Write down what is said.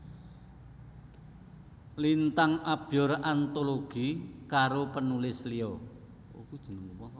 Lintang Abyor antologi karo penulis liya